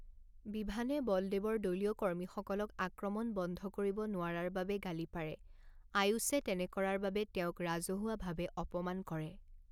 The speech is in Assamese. বিভানে বলদেৱৰ দলীয় কৰ্মীসকলক আক্ৰমণ বন্ধ কৰিব নোৱাৰাৰ বাবে গালি পাৰে, আয়ুষে তেনে কৰাৰ বাবে তেওঁক ৰাজহুৱাভাৱে অপমান কৰে।